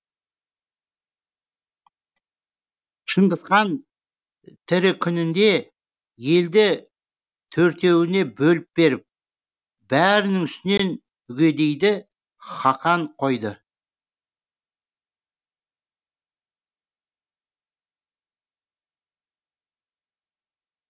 шыңғысхан тірі күнінде елді төртеуіне бөліп беріп бәрінің үстінен үгедейді хақан қойды